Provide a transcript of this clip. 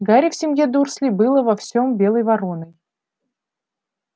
гарри в семье дурслей был во всем белой вороной